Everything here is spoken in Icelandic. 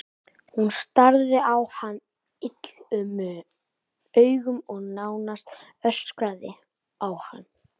Hún starði á hann illum augum og nánast öskraði á hann.